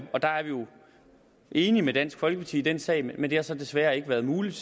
enige med dansk folkeparti i den sag men det har så desværre ikke været muligt